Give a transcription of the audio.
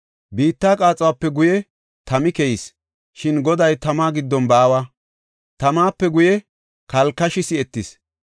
Biitta qaaxuwape guye tami keyis; shin Goday tama giddon baawa. Tamape guye kalkashi si7etis.